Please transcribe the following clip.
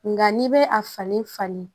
Nka n'i bɛ a falen falen